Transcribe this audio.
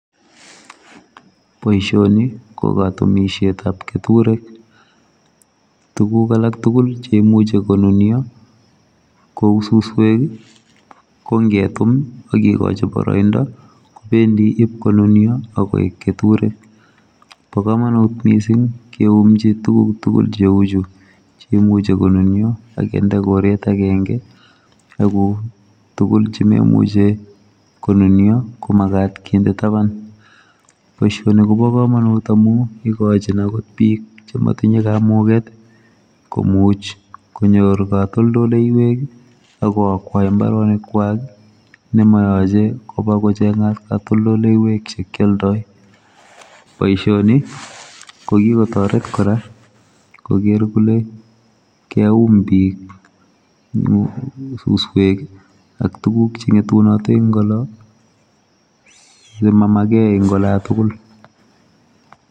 Boisioni ni ko katumisiet ab ketureek, tuguuk alaak tugul chekimuchei ko nunia kou susweek ko ngetuum aki gachiin baraindaa kobendii io konunia agogoek ketureek, bo kamanut missing kiumjii Yuu chemuchei ko nunia ak kinde koreet agenge ak kobuur, tugul che maimuchei konunia komagaat kinde tabaan boisioni Kobo kamanut amuun igochiinn akoot biik che matinyei kamuget komuuch konyoor katoltoleiweek ii ak kokwa mbaronik kwaak nema yachei ibaat kochengaat katoltoleiweek che kialdaa , boisioni ko kikotaret kora koger kole keun biik susweek ii ak tuguuk che ngetunaat eng oloon chemagei en olaan tugul.